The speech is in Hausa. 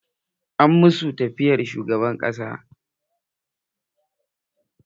An masu yafiyar shugaban ƙasa.